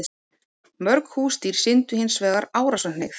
Mörg húsdýr sýndu hins vegar árásarhneigð.